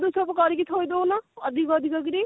ଦି ପହରୁ ସବୁ କରିକି ଥୋଇ ଦଉନୁ ଅଧିକ ଅଧିକ କିରି